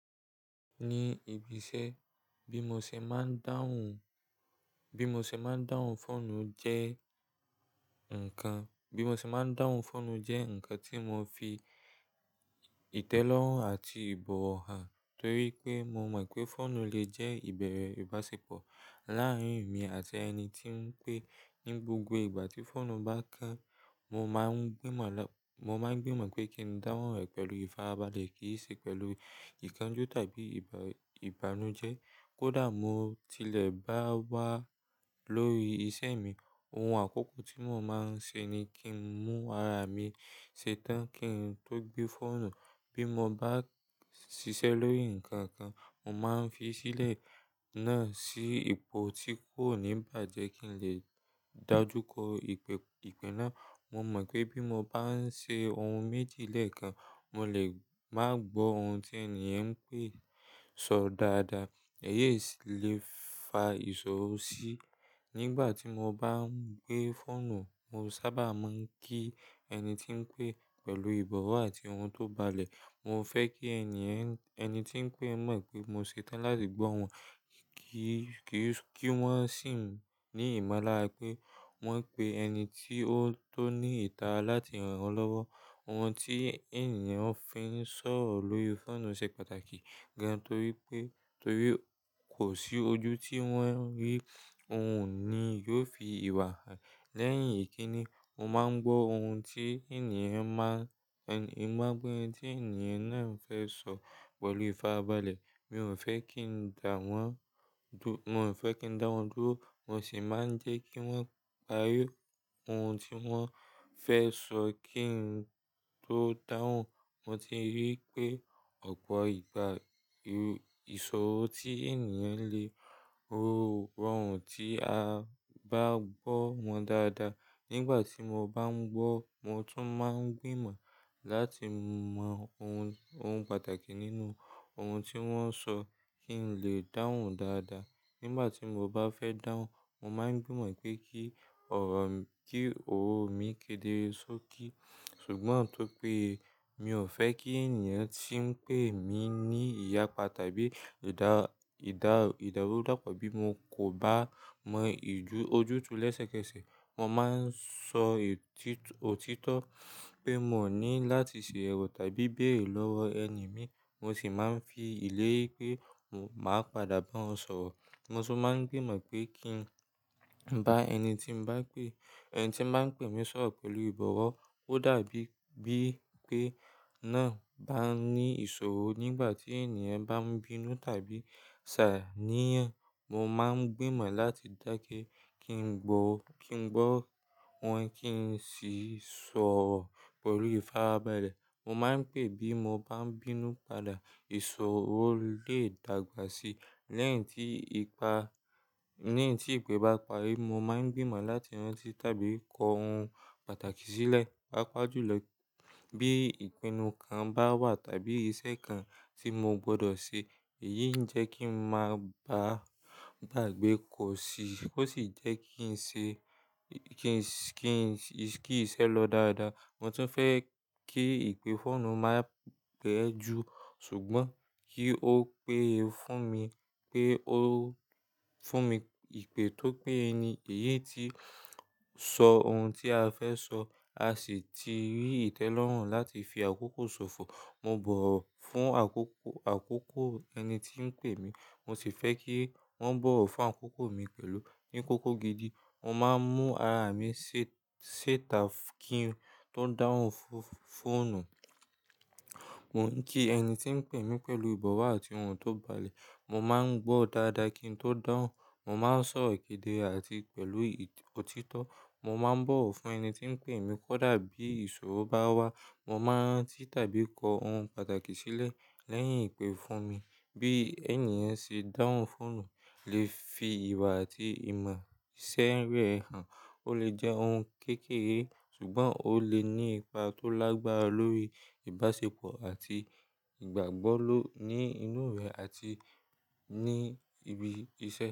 Ní ibi iṣẹ́ bí mo ṣe máa ń dáhùn, bí mo ṣe máa ń dáhùn fóònù jẹ́ ǹkan, bí mo ṣe máa ń dáhùn fóònù jẹ́ ǹkan tí mo fi ìtẹ́lọ́rùn àti ìbọ̀wọ̀ hàn torí pé mo mọ̀ pé fóònù lè jẹ́ ìbẹ̀rẹ̀ ìbáṣepọ̀ láàárín èmi àti ẹni tí ń pè. Ní gbogbo ìgbà tí fóònù bá kán, mo máa ń gbìmọ̀, mo máa ń gbìmọ̀ pé kí n dáhùn rẹ̀ pẹ̀lú ìfara balẹ̀ kì í ṣe pẹ̀lú ìkánjú tàbí ìbà, ìbànújẹ́. Kódà mo tilẹ̀ bá wà lórí isẹ́ mi, ohun àkọ́kọ́ tí mo máa ń ṣe ni kí n mú ara mi ṣetán kí n tó gbé fóònù. Bí mo bá ṣiṣẹ́ lórí ǹkan kan, mo máa ń fi sílẹ̀ náà sí ipò tí kò ní bàjẹ́ kí n lè dájú kò ìpè, ìpè náà mo mọ̀ pé bí mo bá ń ṣe ohun méjì lẹ́ẹ̀kan, mo lè má gbọ́ ohun tí ènìyàn ń pè, sọ dáadáa. Èyí sì lè fa ìṣòro sí. Nígbà tí mo bá ń gbé fóònù, mo sábà máa ń kí ẹni tí ń pè pẹ̀lú ìbọ̀wọ̀ àti ohun tó balẹ̀. Mo fẹ́ kí ènìyẹ̀n, ẹni tí ń pè mọ̀ pé mo ṣetán láti gbọ́ wọn. Kí, kí, kí wọ́n sì ní ìmọ̀lára pé wọ́n pè ẹni tí ó tó ní ìta láti ràn wọ́n lọ́wọ́. Ohun tí ènìyàn fi ń sọ̀rọ̀ lórí fóònù ṣe pàtàkì gan torí pé, torí kò sí ojú tí wọ́n rí, òun ni yóò fi ìwà hàn. Lẹ́yìn èyí kí ni, mo máa ń gbọ́ ohun tí ènìyàn máa, mo máa ń gbọ́ ohun tí ènìyàn náà ń fẹ́ sọ pẹ̀lú ìfarabalẹ̀. Mi ò fẹ́ kí n dáwọn dú, mo fẹ́ kí n dáwọn dúró, mo sì máa ń jẹ́ kí wọ́n parí ohun tí wọ́n fẹ́ sọ kí n tó dáhùn. Mo ti rí pé ọ̀pọ̀ ìgbà, ìṣòro tí ènìyàn le ro, rọrùn tí a bá gbọ́ wọn dáadáa. Nígbà tí mo bá ń gbọ́, mo tún máa ń gbìmọ̀ láti mọ ohun, ohun pàtàkì nínú ohun tí wọ́n sọ kí n lè dáhùn dáadáa. Nígbà tí mo bá fẹ́ dáhùn, mo máa ń gbìmọ̀ pé kí ọ̀rọ̀ mí, kí òrò mi kedere sókí. Ṣùgbọ́n tó pé mi ò fẹ́ kí ènìyàn tí ń pè mí ní ìyapa tàbí ìdá, ìdá, ìdárúdàpọ̀ bí mo kò bá mọ ìju, ojú tú lẹ́sẹ̀kẹsẹ̀. Mo máa ń sọ òtítọ́ pé mo ní láti ṣe ẹ̀rọ tàbí béèrè lọ́wọ́ ẹni mi. Mo sì máa ń fi ìlérí pé màá padà bá wọn sọ̀rọ̀. Mo sì máa ń gbìmọ̀ pé kí n bá ẹni tí ń bá pè, ẹni tí ń bá pè mí sọ̀rọ̀ pẹ̀lú ìbọ̀wọ̀. Ó dàbí bí pé náà bá ní ìṣòro nígbà tí ènìyàn bá ń bínú tàbí ṣàníyàn, mo máa ń gbìmọ̀ láti dákẹ́ kí n gbọ̀ o, kí n gbọ́ wọn kí n sì sọ̀rọ̀ pẹ̀lú ìfarabalẹ̀. Mo máa ń pè bí mo bá ń bínú padà, ìṣòro lè dàgbà síi. Lẹ́yìn tí ipa, lẹ́yìn tí ìpè bá parí, mo máa ń gbìmọ̀ láti rán tí tàbí kọ ohun pàtàkì sílẹ̀. Papajùlọ bí ìpinnu kan bá wà tàbí iṣẹ́ kan tí mo gbọdọ̀ ṣe. Èyí ń jẹ́ kí n má bàa dàgbe kọ́ sí i, ó sì jẹ́ kí n ṣe, kí n ṣe, kí iṣẹ́ lọ dáadáa. Mo tún fẹ́ kí ìpè fóònù máa pẹ́ ju ṣùgbọ́n kí ó pè fún mi pé ó fún mi ìpè tó péye ni. Èyí tí sọ ohun tí a fẹ́ sọ, a sì ti rí ìtẹ́lọ́rùn láti fi àkókò ṣòfò. Mo bọ̀wọ̀ fún àkókò, àkókò ẹni tí ń pè mí, mo sì fẹ́ kí wọ́n bọ̀wọ̀ fún àkókò mi pẹ̀lú. Ní kókó gidi, mo máa ń mú ara mi ṣitá kí n tó dáhùn fóònù. Mo ń kí ẹni tí ń pè mí pẹ̀lú ìbọ̀wọ̀ àti ohun tó balẹ̀. Mo máa ń gbọ́ dáadáa kí n tó dáhùn. Mo máa ń sọ kedere àti pẹ̀lú òtítọ́. Mo máa ń bọ̀wọ̀ fún ẹni tí ń pè mi kó dàbí ìṣòro bá wà. Mo máa ń rán tí tàbí kọ ohun pàtàkì sílẹ̀ lẹ́yìn ìpè fún mi. Bí ènìyàn ṣe dáhùn fóònù lè fi ìwà àti ìmọ̀ iṣẹ́ rẹ̀ hàn. Ó lè jẹ́ ohun kékeré ṣùgbọ́n ó lè ní ipa tó lágbára lórí ìbáṣepọ̀ àti ìgbàgbọ́ lọ́, ní inú rẹ̀ àti ní ibi iṣẹ́.